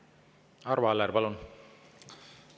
Arvo Aller, palun!